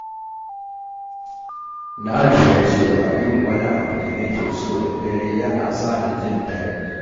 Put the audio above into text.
Na lura cewa yin wani abu da nake so da dare yana sa ni jin daɗi